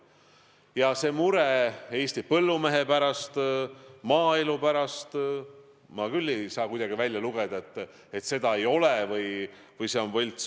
Ja mure Eesti põllumehe pärast, maaelu pärast – ma küll ei loe millestki välja, et seda ei ole või see on võlts.